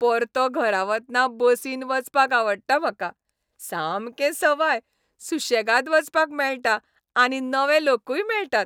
परतो घरा वतना बसीन वचपाक आवडटा म्हाका. सामकें सवाय, सुशेगाद वचपाक मेळटा आनी नवे लोकूय मेळटात.